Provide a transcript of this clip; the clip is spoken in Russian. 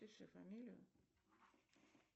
пиши фамилию